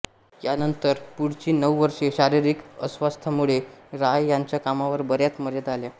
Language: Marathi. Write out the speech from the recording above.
यानंतर पुढची नऊ वर्षे शारिरिक अस्वास्थ्यामुळे राय यांच्या कामावर बऱ्याच मर्यादा आल्या